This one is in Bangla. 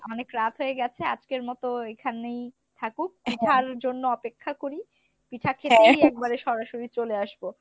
অনেক রাত হয়ে গেছে আজকের মতো এখানেই থাকুক জন্য অপেক্ষা করি, পিঠা খেতেই একবারে সরাসরি চলে আসবো।